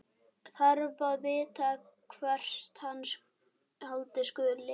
Þarf aðeins að vita hvert halda skuli.